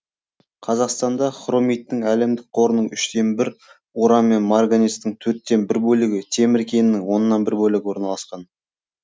қазақстанда хромиттің әлемдік қорының үштен бір уран мен марганецтің төрттен бір бөлігі темір кенінің оннан бір бөлігі орналасқан